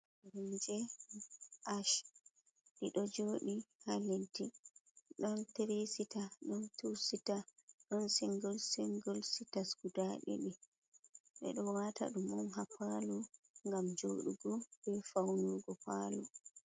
Koromje ash ɗe ɗo joɗi ha leddi ɗon tirii esita ɗon tuu sita, ɗon singul singul sita guda ɗiɗi bedo wata dum on ha palo ngam joɗugo be faunugo palo.